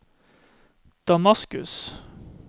Damaskus